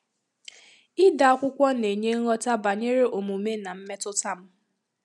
Ịde akwụkwọ na-enye nghọta banyere omume na mmetụta m.